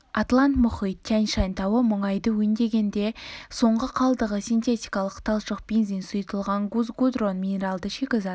атлант мұхит тянь-шань тауы мұнайды өңдегендегі соңғы қалдығы синтетикалық талшық бензин сұйытылған газ гудрон минералды шикізат